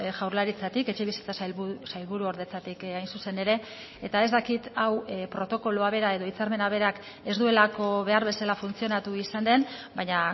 jaurlaritzatik etxebizitza sailburuordetzatik hain zuzen ere eta ez dakit hau protokoloa bera edo hitzarmena berak ez duelako behar bezala funtzionatu izan den baina